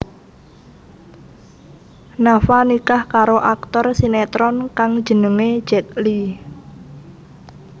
Nafa nikah karo aktor sinetron kang jenengé Zack Lee